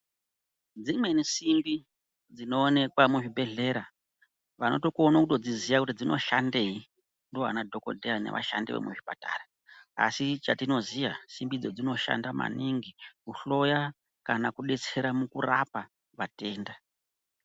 Dzimweni simbi dzinoonekwa muzvibhedhlera, vanotokono kutodziziya kuti dzinoshandei ndovana dhokodheya nevashandi vemuzvipatara. Asi chatinoziya, simbi idzo dzinoshanda maningi kuhloya kana kudetsera mukurapa vatenda.